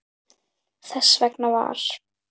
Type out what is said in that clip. Þess vegna var